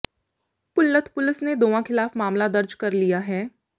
Bholath police ਨੇ ਦੋਵਾਂ ਖ਼ਿਲਾਫ਼ ਮਾਮਲਾ ਦਰਜ ਕਰ ਲਿਆ ਹੈ